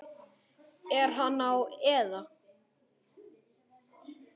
Er hann á eða?